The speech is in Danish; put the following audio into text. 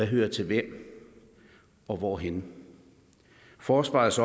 hører til hvem og hvorhenne forsvarets